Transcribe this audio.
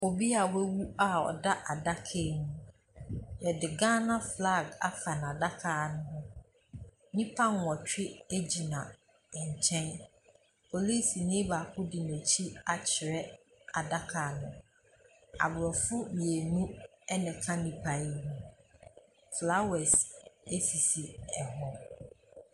Obi a wawu a ɔda adaka mu. Yɛde Ghana flag afa n'adaka ho. Nnipa nnwɔtwe gyina nkyɛn. Polisini baako de n'akyi akyerɛ adaka no. Aborɔfo mmienu na ɛte nipa no ho. Flowers sisi ho.